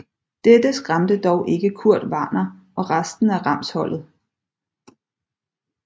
Dette skræmte dog ikke Kurt Warner og resten af Rams holdet